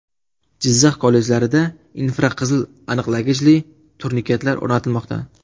Jizzax kollejlarida infraqizil aniqlagichli turniketlar o‘rnatilmoqda.